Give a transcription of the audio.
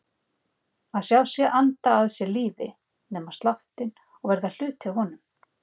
Sjá sig anda að sér lífi, nema sláttinn og verða hluti af honum.